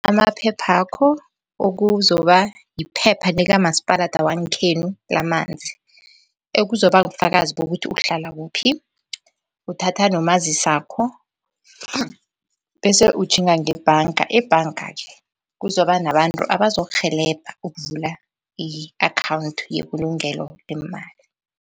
Amaphephakho ekuzokuba yiphepha likamasipalada wangekhethu lamanzi, ekuzokuba bufakazi bokuthi uhlala kuphi, uthatha nomazisakho bese utjhinga ngebhanga. Ebhanga-ke kuzoba nabantu abazokurhelebha ukuvula i-akhawunthi yebulugelo lemali.